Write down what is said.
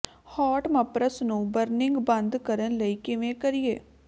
hot ਮਪਰਸ ਨੂੰ burning ਬੰਦ ਕਰਨ ਲਈ ਕਿਵੇਂ ਕਰੀਏ